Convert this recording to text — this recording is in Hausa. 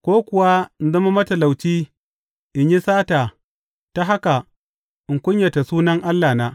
Ko kuwa in zama matalauci in yi sata ta haka in kunyata sunan Allahna.